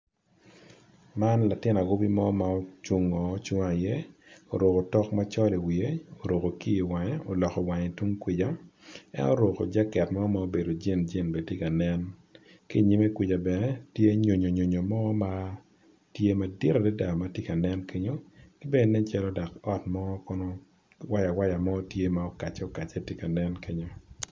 Man latin awobi ma ocung oruko otok, oruko kiyo oloko wiye tung kuca en oruko jaket ma green green ki i nyime kuca tye nyonoyo mo madit adada. Tye bene waya waya mo tye ma okacce.